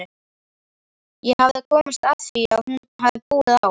Ég hafði komist að því að hún hafði búið á